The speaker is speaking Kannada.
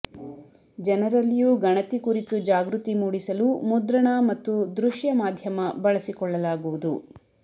ಜನರಲ್ಲಿಯೂ ಗಣತಿ ಕುರಿತು ಜಾಗೃತಿ ಮೂಡಿಸಲು ಮುದ್ರಣ ಮತ್ತು ದೃಶ್ಯ ಮಾಧ್ಯಮ ಬಳಸಿ ಕೊಳ್ಳಲಾಗುವುದು